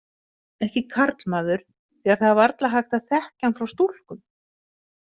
Ekki karlmaður því að það er varla hægt að þekkja hann frá stúlkum.